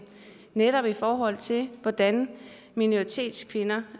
netop i forhold til hvordan minoritetskvinder